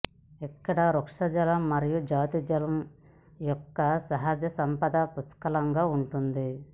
ఇక్కడ వృక్షజాలం మరియు జంతుజాలం యొక్క సహజ సంపద పుష్కలంగా ఉంటుంది